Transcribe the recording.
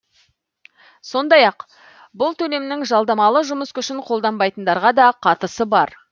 сондай ақ бұл төлемнің жалдамалы жұмыс күшін қолданбайтындарға да қатысы бар